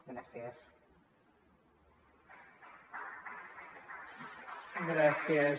gràcies